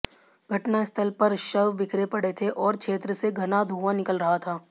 घटनास्थल पर शव बिखरे पड़े थे और क्षेत्र से घना धुंआ निकल रहा था